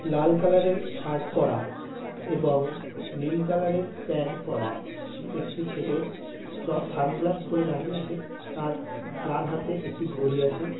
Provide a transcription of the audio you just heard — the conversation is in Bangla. লাল কালার এর শার্ট পরা এবং নীল কালার এর প্যান্ট পরা একটি ছেলে চ-সানগ্লাস পড়ে দাঁড়িয়ে আছে। তার তার হাতে একটি ঘড়ি আছে।